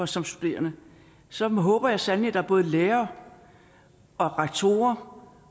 som studerende så håber jeg sandelig at der er både lærere og rektorer